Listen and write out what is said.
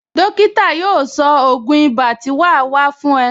Dókítà yóò sọ ògún ibà tí wà á fún ẹ